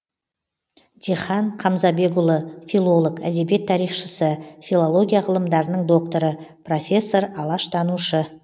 дихан қамзабекұлы филолог әдебиет тарихшысы филология ғылымдарының докторы профессор алаштанушы